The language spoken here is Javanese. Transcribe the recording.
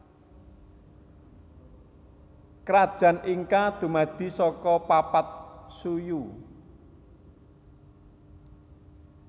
Krajan Inka dumadi saka papat suyu